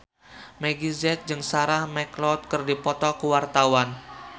Meggie Z jeung Sarah McLeod keur dipoto ku wartawan